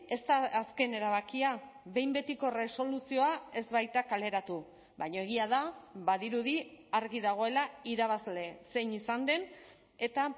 ez da azken erabakia behin betiko erresoluzioa ez baita kaleratu baina egia da badirudi argi dagoela irabazle zein izan den eta